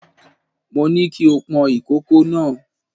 Mo ní kí o pọn ìkòkò náà.